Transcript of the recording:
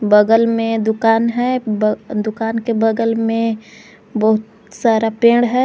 बगल में दुकान है दुकान के बगल में बहुत सारा पेड़ है।